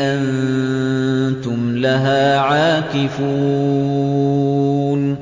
أَنتُمْ لَهَا عَاكِفُونَ